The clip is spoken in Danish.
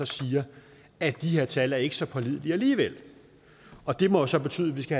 siger at de tal ikke er så pålidelige alligevel og det må så betyde at vi skal